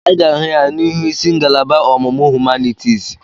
Anyị ga-ahụ ya n'ihu ịsị ngalaba ọmụmụ humanitiisi.